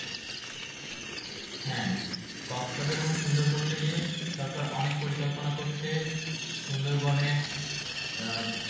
হ্যাঁ কক্স বাজার এবং সুন্দরবনকে নিয়ে সরকার অনেক পরিকল্পনা করছে। সুন্দরবনে আহ